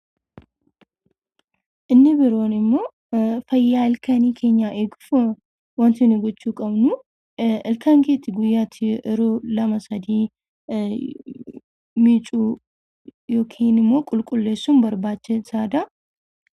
Inni biroon immoo fayyaa ilkaan keenyaa eeguuf waanti nuti gochuu qabnu, Ilkaan keenya guyyaatti yeroo lama sadii miicuu yookiin immoo qulqulleessuun barbaachisaadha.